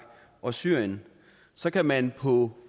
og syrien så kan man på